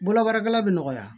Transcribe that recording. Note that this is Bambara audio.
Bolobaarakɛla be nɔgɔya